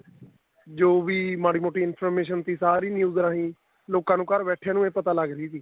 ਜੋ ਵੀ ਮਾੜੀ ਮੋਟੀ information ਤੀ ਸਾਰੀ news ਵਾਲੀ ਲੋਕਾਂ ਨੂੰ ਘਰ ਬੈਠੀਆਂ ਈ ਪਤਾ ਲੱਗ ਰਹੀ ਤੀ